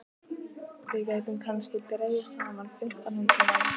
Við gætum kannski dregið saman fimmtán hundruð manns.